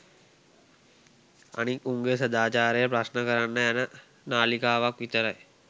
අනිත් උන්ගේ සදාචාරය ප්‍රශ්න කරන්න යන නාලිකාවක් විතරයි.